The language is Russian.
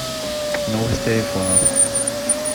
новости айфона